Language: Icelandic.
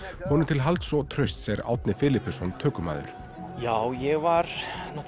honum til halds og trausts er Árni tökumaður já ég var